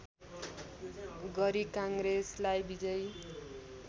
गरी काङ्ग्रेसलाई विजयी